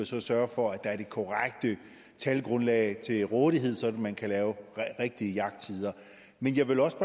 så sørge for at der er det korrekte talgrundlag til rådighed så man kan lave rigtige jagttider men jeg vil også